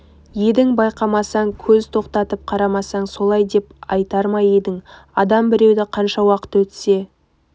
едің байқамасаң көз тоқтатып қарамасаң солай деп айтар ма едің адам біреуді қанша уақыт өтсе